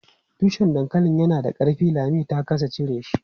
Tushen dankalin yana da ƙarfi, Lami ta ƙasa cire shi.